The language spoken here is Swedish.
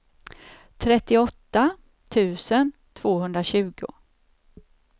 trettioåtta tusen tvåhundratjugo